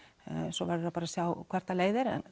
svo verðum við bara að sjá hvert það leiðir en